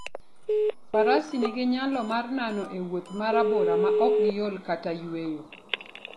Faras nigi nyalo mar nano e wuoth ma rabora maok giol kata yueyo.